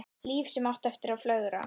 Líf sem átti eftir að flögra.